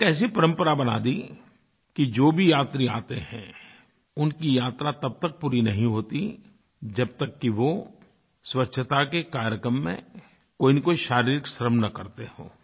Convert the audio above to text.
और एक ऐसी परम्परा बना दी कि जो भी यात्री आते हैं उनकी यात्रा तब तक पूरी नहीं होती जब तक कि वो स्वच्छता के कार्यक्रम में कोईनकोई शारीरिक श्रम न करते हों